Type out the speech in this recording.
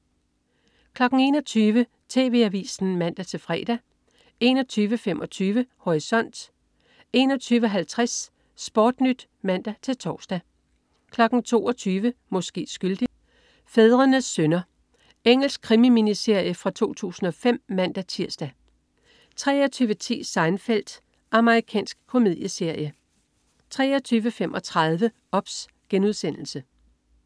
21.00 TV Avisen (man-fre) 21.25 Horisont 21.50 SportNyt (man-tors) 22.00 Måske skyldig. Fædrenes synder 2:2 Engelsk krimi-miniserie fra 2005 (man-tirs) 23.10 Seinfeld. Amerikansk komedieserie 23.35 OBS*